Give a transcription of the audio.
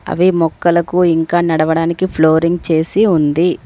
అవి మొక్కలకు ఇంకా నడవడానికి ఫ్లోరింగ్ చేసి ఉంది.